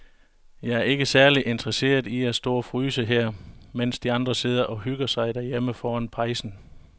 Jeg er ikke særlig interesseret i at stå og fryse her, mens de andre sidder og hygger sig derhjemme foran pejsen.